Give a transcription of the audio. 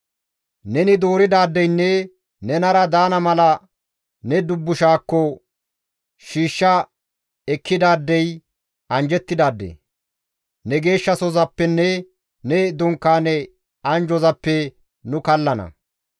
Neni dooridaadeynne nenara daana mala ne dubbushaakko shiishsha ekkidaadey anjjettidaade; ne geeshshasozappenne ne dunkaane anjjozappe nu kallana.